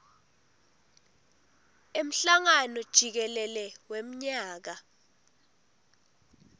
emhlangano jikelele wemnyaka